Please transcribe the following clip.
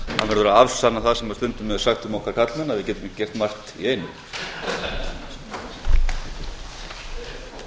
verður að afsanna það sem stundum er sagt um okkur karlmenn að við getum ekki gert margt í einu